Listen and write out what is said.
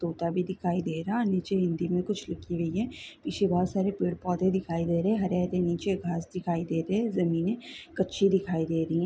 तोता भी दिखाई दे रहा नीचे हिंदी में कुछ लिखी हुई है पीछे बहुत सारे पेड़ पौधे दिखाई दे रहे हैं हरे -हरे नीचे घास दिखाई दे रही जमीने कच्ची दिखाई दे रही हैं।